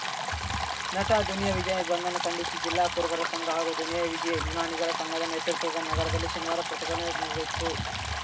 ನಟ ದುನಿಯಾ ವಿಜಯ್‌ ಬಂಧನ ಖಂಡಿಶಿ ಜಿಲ್ಲಾ ಕುರುಬರ ಶಂಘ ಹಾಗೂ ದುನಿಯಾ ವಿಜಿ ಅಭಿಮಾನಿಗಳ ಸಂಘದ ನೇತೃತ್ವದ ನಗರದಲ್ಲಿ ಶನಿವಾರ ಪ್ರತಿಭಟನೆ ನಡೆ ನಡೆಯಿತು